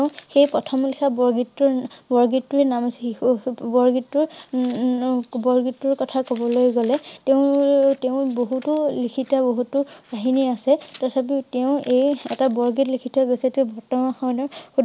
তেওঁ সেই প্ৰথম লিখা বৰগীত তোৰ~ন~বৰগীত তোৰ নাম আছিল বৰগীত তোৰ ন~ন~ন বৰগীত তোৰ কথা কবলৈ গলে তেওঁৰ~তেওঁ বহুতো লিখিত বহুতো কাহিনী আছে তথাপিও তেওঁ এই এটা বৰগীত লিখি থৈ গৈছে তেওঁ~তেওঁ সৰণৰ